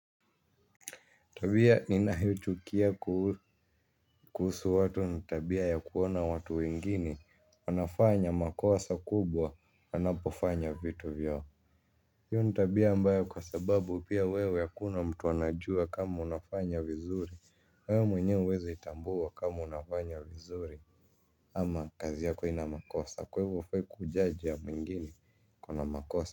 Tabia ninayochukia kuhusu watu ni tabia ya kuona watu wengine. Wanafanya makosa kubwa wanapofanya vitu vyao. Hiyo ni tabia ambayo kwa sababu pia wewe hakuna mtu anajua kama unafanya vizuri. Wewe mwenyewe huwezi tambua kama unafanya vizuri. Ama kazi yako haina makosa. Kwa hivo hufai kujudge ya mwingine iko na makosa.